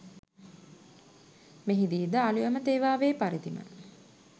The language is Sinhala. මෙහිදී ද අලුයම තේවාවේ පරිදිම